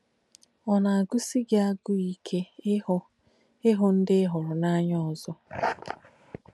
Ọ̀ nà-àgūsī gí àgūú íke īhú īhú ndí í hùrù n’ànya ōzọ̀?